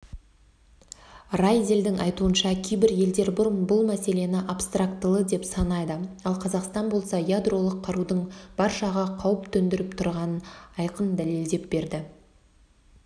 райделдің айтуынша кейбір елдер бұл мәселені абстрактылы деп санайды ал қазақстан болса ядролық қарудың баршаға қауіп төңдіріп тұрғанын айқын дәлелдеп берді